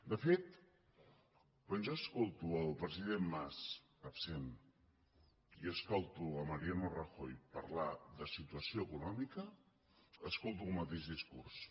de fet quan jo escolto el president mas absent i escolto mariano rajoy parlar de situació econòmica escolto el mateix discurs